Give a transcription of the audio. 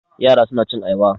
Yara suna cin ayaba.